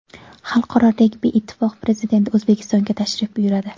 Xalqaro regbi ittifoqi prezidenti O‘zbekistonga tashrif buyuradi.